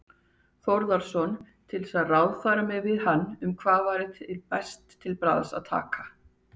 Þórðarson til að ráðfæra mig við hann um hvað væri best til bragðs að taka.